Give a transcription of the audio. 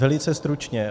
Velice stručně.